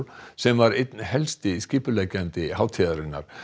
sem var einn helsti skipuleggjandi hátíðarinnar